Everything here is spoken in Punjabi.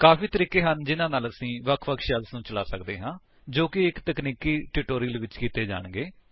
ਕਾਫ਼ੀ ਤਰੀਕੇ ਹਨ ਜਿਹਨਾ ਨਾਲ ਅਸੀ ਵੱਖ ਵੱਖ ਸ਼ੈਲਸ ਨੂੰ ਚਲਾ ਸਕਦੇ ਹਾਂ ਜੋ ਕਿ ਇੱਕ ਤਕਨੀਕੀ ਟਿਊਟੋਰਿਅਲ ਵਿੱਚ ਕੀਤੇ ਜਾਣਗੇ